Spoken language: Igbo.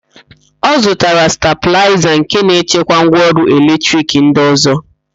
Ọ zụtara stabịlaịza nke na-echekwa ngwaọrụ eletrik ndị ọ̀zọ́.